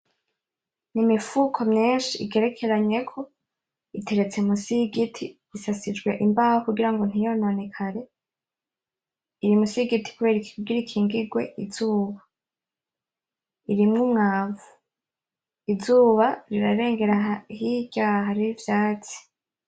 N'imifuko myinshi igerekeranyeko, iteretse musi y'igiti, isasijwe imbaho kugira ntiyononekare, iri musi y'igiti kugira ikingigwe izuba. Irimwo umwavu. Izuba rirarengera hirya, hariho ivyatsi.